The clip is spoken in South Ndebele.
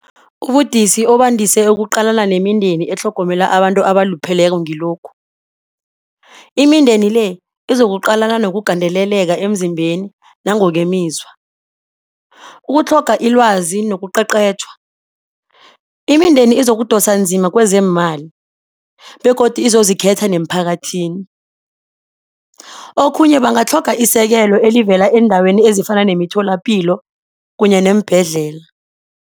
Ubudisi obandise ukuqalana nemindeni etlhogomela abantu abalupheleko ngilokhu, imindeni le izokuqala nokugandeleleka emzimbeni nangokwemizwa, ukutlhoga ilwazi nokuqeqeshwa, imindeni izokudosa nzima kwezeemali begodu izozikhetha neemphakathini. Okhunye bangatlhoga isekelo elivela eendaweni ezifana nemitholapilo kanye neembhedlela.